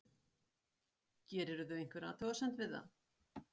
Þorbjörn Þórðarson: Gerirðu einhverja athugasemd við það?